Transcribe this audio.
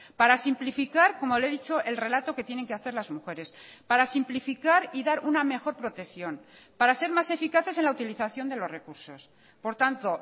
para simplificar como le he dicho el relato que tienen que hacer las mujeres para simplificar y dar una mejor protección para ser más eficaces en la utilización de los recursos por tanto